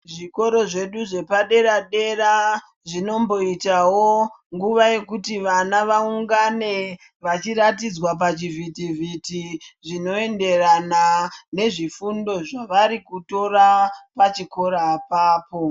Zvikoro zvedu zvepadera dera zvinomboitawo nguva yekuti ana vaungane vachiratidzwa pachivhitivhiti zvinoenderana nezvifundo zvavari kutora pachikora ipapo.